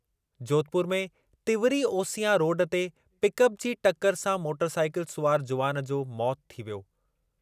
जोधपुर में तिंवरी ओसियां रोड ते पिकअप जी टकरु सां मोटरसाइकिल सुवारु जुवान जो मौति थी वियो ।